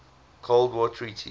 cold war treaties